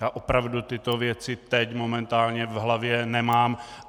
Já opravdu tyto věci teď momentálně v hlavě nemám.